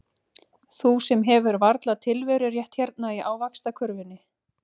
Þú sem hefur varla tilverurétt hérna í ávaxtakörfunni.